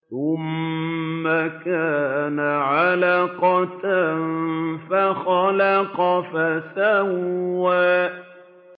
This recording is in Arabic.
ثُمَّ كَانَ عَلَقَةً فَخَلَقَ فَسَوَّىٰ